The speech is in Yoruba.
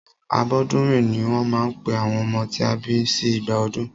Abọ́dúnrìn ní wọ́n máa ń pe àwọn ọmọ tí a bí sí ìgbà ọdún.